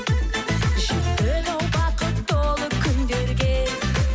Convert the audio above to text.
жеттік ау бақыт толы күндерге